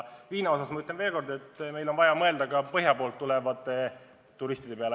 Viina kohta ma ütlen veel kord, et meil on vaja mõelda ka põhja poolt tulevate turistide peale.